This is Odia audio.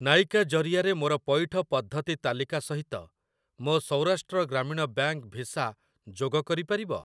ନାଇକା ଜରିଆରେ ମୋର ପଇଠ ପଦ୍ଧତି ତାଲିକା ସହିତ ମୋ ସୌରାଷ୍ଟ୍ର ଗ୍ରାମୀଣ ବ୍ୟାଙ୍କ୍‌ ଭିସା ଯୋଗ କରିପାରିବ?